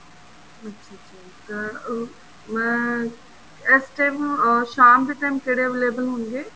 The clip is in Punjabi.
ਅੱਛਾ ਅੱਛਾ ਇੱਕ ਮੈਂ ਇਸ time ਸ਼ਾਮ ਦੇ time ਕਿਹੜੇ available ਹੋਣਗੇ